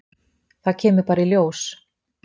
Það kemur bara í ljós